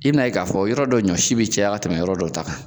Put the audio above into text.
I n'a ye k'a fɔ yɔrɔ dɔw ɲɔ si bɛ caya ka tɛmɛ yɔrɔ dɔ ta kan.